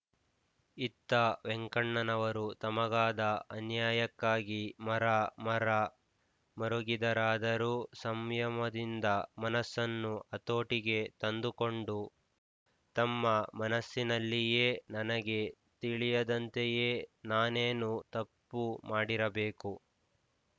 ಇತ್ತ ವೆಂಕಣ್ಣನವರು ತಮಗಾದ ಅನ್ಯಾಯಕ್ಕಾಗಿ ಮರ ಮರ ಮರುಗಿದರಾದರೂ ಸಂಯಮದಿಂದ ಮನಸ್ಸನ್ನು ಹತೋಟಿಗೆ ತಂದುಕೊಂಡು ತಮ್ಮ ಮನಸ್ಸಿನಲ್ಲಿಯೇ ನನಗೆ ತಿಳಿಯದಂತೆಯೇ ನಾನೇನೋ ತಪ್ಪು ಮಾಡಿರಬೇಕು